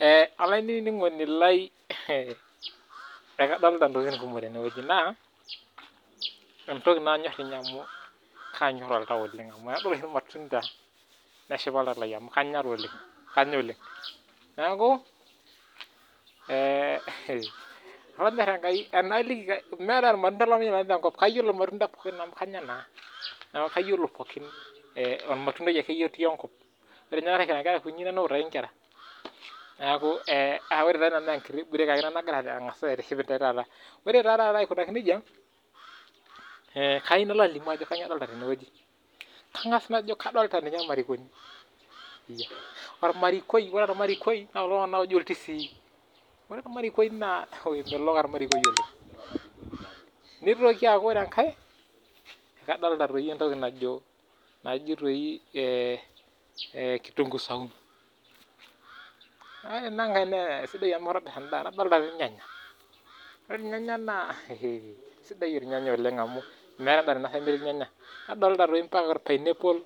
Eeeh olainining'oni lai, ehee ekadolita intokitin kumok oleng' tene weji naa , entoki nanyorr ninye oleng' amuu, kaanyorr oltau oleng' amuu kadol oshi ilmatunda, neshipa oltau lai amuu kanya taa oleng' kanya taa oleng', neeku eeeh ehee, olonyorr Enkai enaaliki meetai olmatundai lemayolo nanu tenkop, kayiol ilmatunda pooki amuu kanya naa, neeku kayiolo pookin olmatundai akeye otii enkop, ore apa kira inkera kunyinyi naa nanu outaki inkera, neeku ee aa enkiti cs[break]cs ake ina nang'asa aitiship intae taata, ore taa taata ikunaki nejia, eee kayeu nalo alimu ajo kanyio adolita tene weji, kang'as najo kadolita ninye ilmarikoni, iya , olmarikoi ore olmarikoi naa kulo loojo iltung'ana iltisii, ore olmarikoi naa ehe, emelok olmarikoi oleng', nitoki aku ore enkae, kaadolta naa entoki najo naji toi eee, kitunguu saumu, ore inangai naa sidai amuu itobirr endaa, nadolta toi ilnyanya, ore ilnyanya naa ehee, sidai ilnyanya amuu meinosayu endaa nemetii ilnyanya, nadolta toi ampaka olpainepol